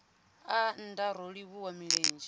aa nndaa ro livhuwa milenzhe